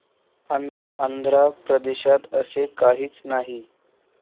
आंध्र प्रदेशात असे काहीच नाही.